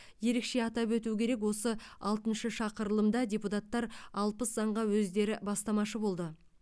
ерекше атап өту керек осы алтыншы шақырылымда депутаттар алпыс заңға өздері бастамашы болды